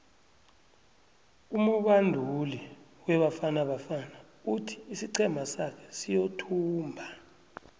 umubanduli webafana bafana uthi isiqhema sake siyothumba